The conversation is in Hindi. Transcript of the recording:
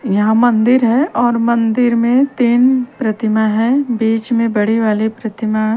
यहाँ मंदिर हैं और मंदिर में तीन प्रतिमा हैं बीच में बड़ी वाली प्रतिमा--